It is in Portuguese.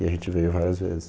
E a gente veio várias vezes.